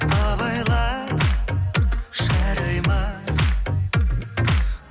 абайла жарай ма